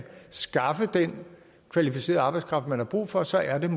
skaffe den kvalificerede arbejdskraft man har brug for og så er